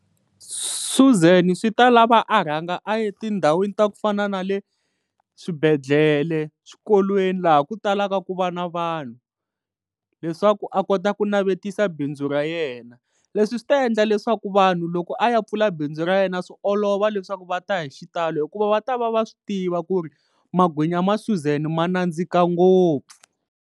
Suzan swi ta lava a rhanga a ya tindhawini ta ku fana na le swibedhlele, swikolweni laha ku talaka ku va na vanhu leswaku a kota ku navetisa bindzu ra yena leswi swi ta endla leswaku vanhu loko a ya pfula bindzu ra yena swi olova leswaku va ta hi xitalo hikuva va ta va va swi tiva ku ri magwinya ma Suzan ma nandzika ngopfu.